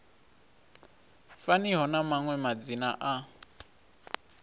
faniho na maṅwe madzina a